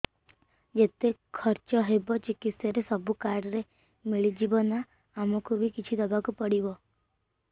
ଯେତେ ଖର୍ଚ ହେବ ଚିକିତ୍ସା ରେ ସବୁ କାର୍ଡ ରେ ମିଳିଯିବ ନା ଆମକୁ ବି କିଛି ଦବାକୁ ପଡିବ